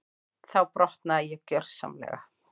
Þá brotnaði ég gjörsamlega.